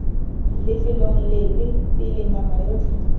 lefelong lepe pele nama yotlhe